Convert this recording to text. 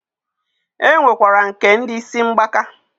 E nwekwara nke ndi isi mgbaka.